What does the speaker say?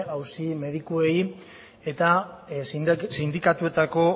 auzi medikuei eta sindikatuetako